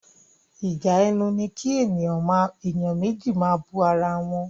Ìjà ẹnu ní kí èèyàn méjì máa bú ara wọn.